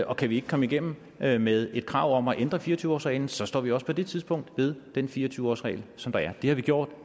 og kan vi ikke komme igennem med med et krav om at ændre fire og tyve årsreglen så står vi også på det tidspunkt ved den fire og tyve årsregel som der er det har vi gjort